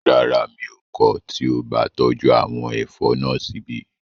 Rárá, mi ò kọ̀ tí o bá tọ́jú àwọn ẹ̀fọ́ náà síbí